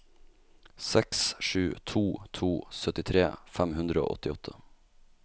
seks sju to to syttitre fem hundre og åttiåtte